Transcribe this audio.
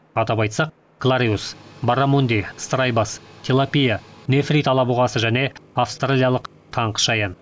атап айтсақ клариус баррамунди страйбасс тилапия нефрит алабұғасы және австралиялық таңқышаян